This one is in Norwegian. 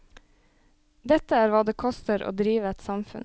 Dette er hva det koster å drive et samfunn.